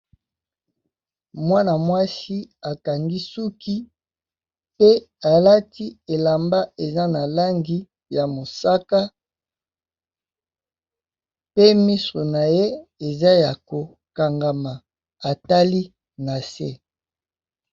Mwana mwasi a kangi suki pe a lati elamba eza na langi ya mosaka pe misu na ye eza ya ko kangama, a tali na sé .